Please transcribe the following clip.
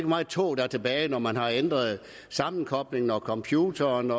meget tog der er tilbage når man har ændret sammenkoblingen computeren